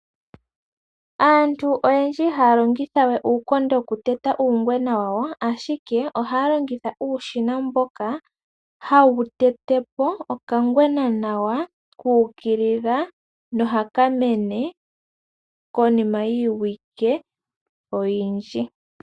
Aantu oyendji ihaya longitha we uukonde woku teta uungwena wawo, ashike ohaya longitha uushina mboka hawu tetepo okangwena nawa kuukilila nohaka mene konima yiiwike oyindji.